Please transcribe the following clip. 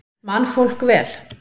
Man fólk vel?